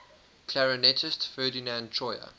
clarinetist ferdinand troyer